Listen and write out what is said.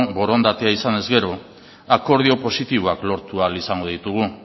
borondatea izanez gero akordio positiboak lortu ahal izango ditugu